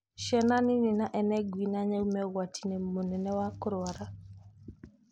Ciana nini na ene ngui na nyau me ũgwati-inĩ mũnene wa kũrwarwa